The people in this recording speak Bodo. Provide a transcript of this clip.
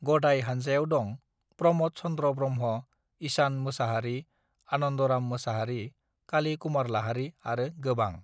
गदाय हानजायाव दं प्रमोद चन्द्र ब्रह्मा ईसान मोसाहारी आनन्दराम मोसाहारी काली कुमार लाहारी आरो गोबां